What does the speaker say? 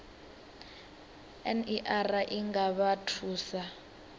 ner i nga vha thusa